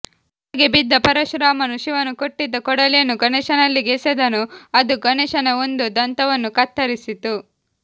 ಕೆಳಗೆ ಬಿದ್ದ ಪರಶುರಾಮನು ಶಿವನು ಕೊಟ್ಟಿದ್ದ ಕೊಡಲಿಯನ್ನು ಗಣೇಶನಲ್ಲಿಗೆ ಎಸೆದನು ಅದು ಗಣೇಶನ ಒಂದು ದಂತವನ್ನು ಕತ್ತರಿಸಿತು